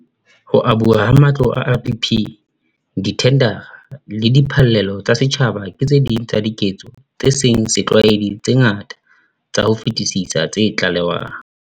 Ho abuwa ha matlo a RDP, dithendara le diphallelo tsa setjhaba ke tse ding tsa diketso tse seng setlwaeding tse ngata ka ho fetisisa tse tlalewang.